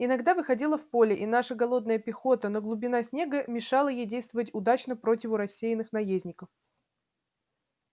иногда выходила в поле и наша голодная пехота но глубина снега мешала ей действовать удачно противу рассеянных наездников